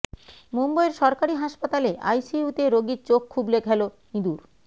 মুম্বইয়ের সরকারি হাসপাতালে আইসিইউতে রোগীর চোখ খুবলে খেল ইঁদুর